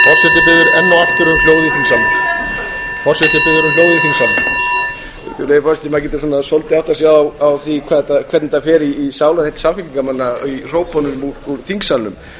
virðulegi forseti maður getur svona svolítið áttað sig á því hvernig þetta fer í sálarheill samfylkingarmanna í hrópunum úr þingsalnum